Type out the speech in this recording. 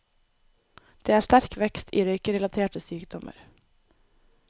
Det er sterk vekst i røykerelaterte sykdommer.